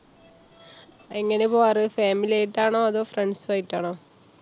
എങ്ങനെ പോവാറ്? family ആയിട്ടാണോ? അതോ friends ആയിട്ടാണോ?